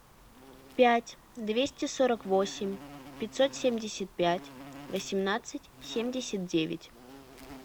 пять двести сорок восемь пятьсот семьдесят пять восемнадцать семьдесят девять